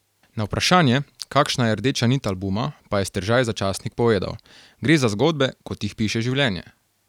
Na vprašanje, kakšna je rdeča nit albuma, pa je Steržaj za časnik povedal: "Gre za zgodbe, kot jih piše življenje.